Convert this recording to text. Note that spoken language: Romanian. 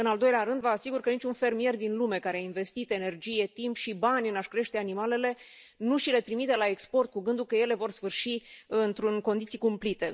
În al doilea rând, vă asigur că niciun fermier din lume care a investit energie, timp și bani în a și crește animalele nu și le trimite la export cu gândul că ele vor sfârși în condiții cumplite.